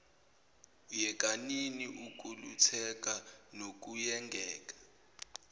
yekanini ukulutheka nokuyengeka